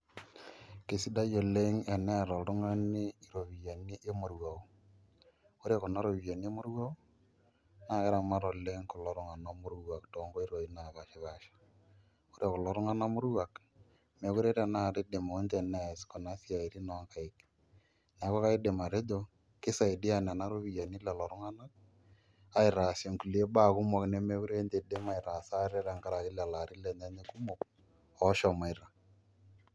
Kesidai eneeta oltung'ani ropiyiani emoruao. Ore kuna ropiyiani emoruao, naa keramat oleng kulo tung'anak moruak tonkoitoii napashipasha. Ore kulo tung'anak moruak, mekure tanakata idimu nche nees kuna siaitin onkaik. Neeku kaidim atejo, kisaidia nena ropiyiani lelo tung'anak, aitaasie nkulie baa kumok nemekure nche idim aitaasa ate tenkaraki lelo arin lenye kumok, oshomoita.